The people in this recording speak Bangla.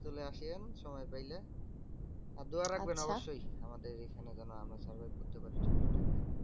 চলে আসিয়েন সময় পাইলে। আর দুয়া রাখবেন অবশ্যই। আমাদের এইখানে যেন আমরা survive করতে পারি ঠাণ্ডা টাকে।